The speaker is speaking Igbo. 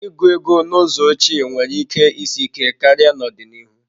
Ịgụ ego n'ụzọ ochie nwere ike isi ike karịa n'ọdịnihu.